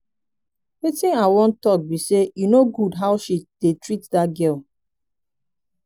wetin i wan talk be say e no good how she dey treat that girl